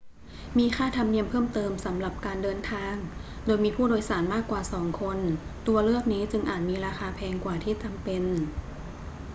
มีค่าธรรมเนียมเพิ่มเติมสำหรับการเดินทางโดยมีผู้โดยสารมากกว่า 2 คน ตัวเลือกนี้จึงอาจมีราคาแพงกว่าที่จำเป็น